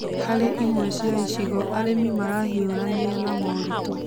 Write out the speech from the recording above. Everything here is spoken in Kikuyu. Harĩ imwe cia icigo, arĩmi marahiũrania na moritũ